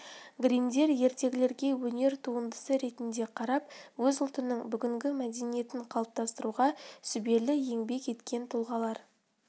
гриммдер ертегілерге өнер туындысы ретінде қарап өз ұлтының бүгінгі мәдениетін қалыптастыруға сүбелі еңбек еткен тұлғалар